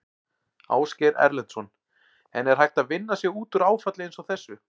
Ásgeir Erlendsson: En er hægt að vinna sig út úr áfalli eins og þessu?